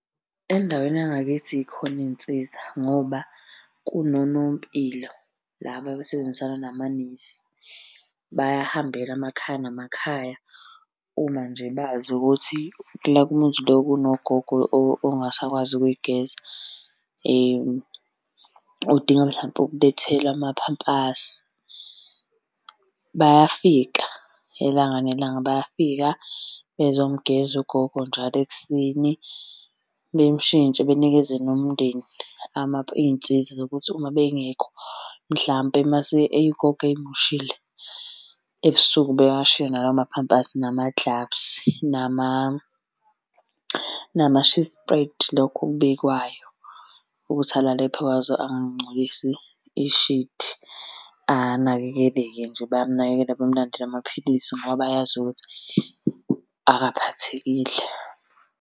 Endaweni yangakithi y'khona iy'nsiza ngoba kunonompilo laba abasebenzisana namanesi. Bayahambela amakhaya namakhaya uma nje bazi ukuthi la kumuzi bekunogogo ongasakwazi ukuy'geza, udinga mhlampe ukulethelwa amaphampasi. Bayafika ilanga nelanga, bayafika bezomugeza ugogo njalo ekuseni, bemushintshe benikeze nomndeni iy'nsiza zokuthi uma bengekho mhlampe mase ugogo ey'moshile ebusuku bewashiye nalawo maphampasi, namaglavusi, nama-sheet spread, lokhu okubekwayo ukuthi alalephi phezu kwazo angangcolisi ishidi anakekeleke nje. Bayamunakekela bamulandele amaphilisi ngoba bayazi ukuthi akaphathekile.